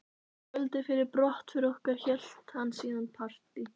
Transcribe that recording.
Kvöldið fyrir brottför okkar hélt hann síðan partí.